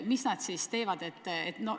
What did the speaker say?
Mis nad siis ikkagi teevad?